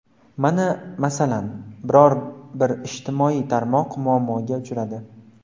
Mana, masalan, biror-bir ijtimoiy tarmoq muammoga uchradi.